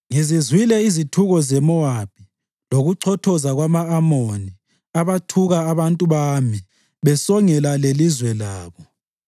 “Ngizizwile izithuko zeMowabi lokuchothoza kwama-Amoni, abathuka abantu bami besongela lelizwe labo.